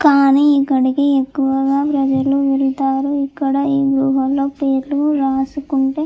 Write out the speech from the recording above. కానీ ఇక్కడికి ఎక్కువగా ప్రజలు వెళ్తారు ఇక్కడ ఈ గుహ లో పేర్లు రాసుకుంటే --